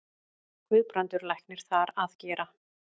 Guðbrandur læknir þar að gera.